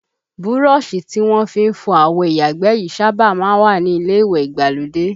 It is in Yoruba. Búrọ̀sì tí wọ́n fi ń fọ àwo ìyàgbẹ́ yìí sábà má ń wà ní ilé ìwẹ̀ ìgbàlódé